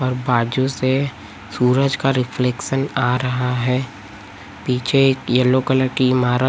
और बाजू से सूरज का रिफ्लेक्शन आ रहा है पीछे एक येलो कलर की ईमारत--